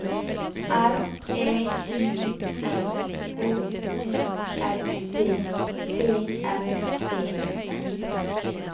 R E I N H O L D T S E N